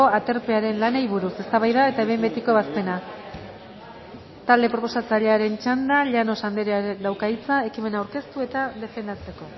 aterpearen lanei buruz eztabaida eta behin betiko ebazpena talde proposatzailearen txanda llanos andereak dauka hitza ekimena aurkeztu eta defendatzeko